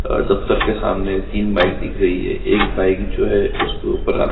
दफ्तर के सामने तीन बाइक दिख रही है एक बाइक जो है उसके ऊपर--